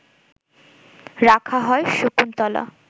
রাখা হয় শকুন্তলা